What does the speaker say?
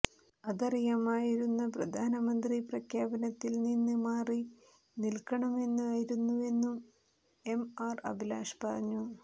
അതറിയാമായിരുന്ന പ്രധാനമന്ത്രി പ്രഖ്യാപനത്തിൽ നിന്ന് മാറി നിൽക്കണമായിരുന്നുവെന്നും എംആർ അഭിലാഷ് പറഞ്ഞു